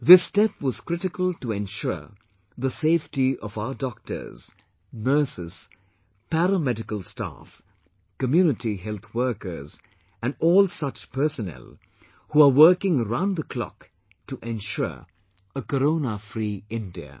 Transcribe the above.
This step was critical to ensure the safety of our doctors, nurses, paramedical staff, community health workers and all such personnel who are working round the clock to ensure a Coronafree India